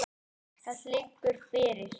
Það liggur fyrir.